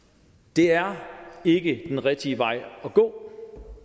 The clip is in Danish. det er ikke den rigtige vej at gå